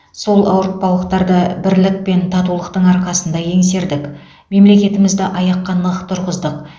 сол ауыртпалықтарды бірлік пен татулықтың арқасында еңсердік мемлекетімізді аяққа нық тұрғыздық